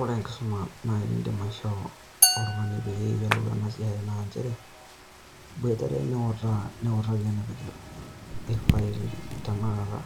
Ore enkisuma naai niindim aishoo oltung'ani pee eyiolou ena siai naa nchere iboitare niutaaa, niutaki enepik irfaili tenekata